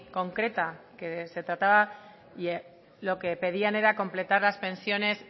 concreta que se trataba y lo que pedían era completar las pensiones